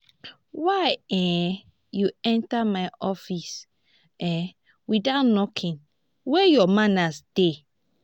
why um you enter my office um without knocking? where your manners dey?